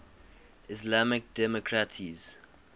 islamic democracies